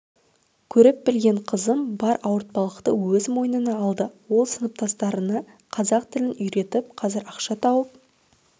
көріп-білген қызым бар ауыртпалықты өз мойнына алды ол сыныптастарына қазақ тілін үйретіп қазір ақша тауып